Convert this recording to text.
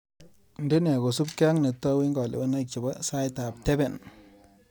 Ndene kosupke ak netou eng kalewenaik chebo saitap tepen.